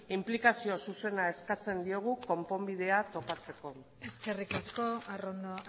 inplikazio zuzena eskatzen diogu konponbidea topatzeko eskerrik asko arrondo